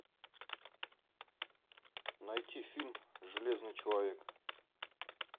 найти фильм железный человек